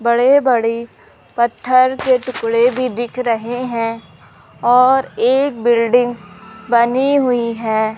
बड़े बड़े पत्थर के टुकड़े भी दिख रहे हैं और एक बिल्डिंग बनी हुई है।